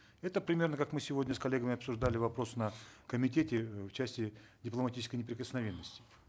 это примерно как мы сегодня с коллегами обсуждали вопрос на комитете э в части дипломатической неприкосновенности